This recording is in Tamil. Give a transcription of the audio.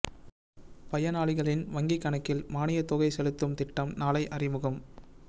பயனாளிகளின் வங்கிக் கணக்கில் மானியத் தொகை செலுத்தும் திட்டம் நாளை அறிமுகம்